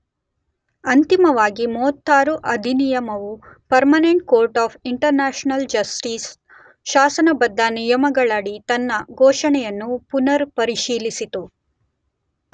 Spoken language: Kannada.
ಅಂತಿಮವಾಗಿ 36 ಅಧಿನಿಯಮವು permanent court of international justice ಶಾಸನಬದ್ದ ನಿಯಮಗಳಡಿ ತನ್ನ ಘೋಷಣೆಯನ್ನು ಪುನರ್ ಪರಿಶೀಲಿಸಿತು.